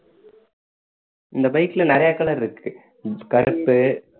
இந்த bike ல நிறைய colour இருக்கு கருப்பு